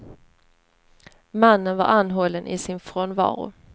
Mannen var anhållen i sin frånvaro.